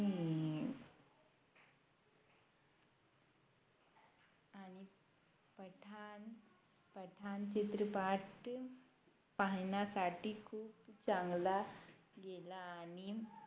पठाण चित्रपाट पाहाण्यासाठी खूप चांगला गेला आणि